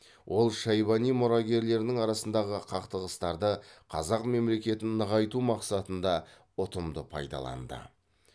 ол шайбани мұрагерлерінің арасындағы қақтығыстарды қазақ мемлекетін нығайту мақсатында ұтымды пайдаланды